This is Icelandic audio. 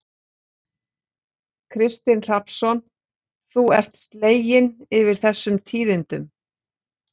Kristinn Hrafnsson: Þú ert slegin yfir þessum tíðindum?